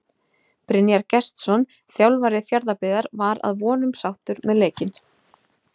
Brynjar Gestsson þjálfari Fjarðabyggðar var að vonum sáttur með leikinn.